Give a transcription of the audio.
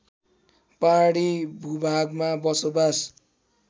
पहाडी भूभागमा बसोबास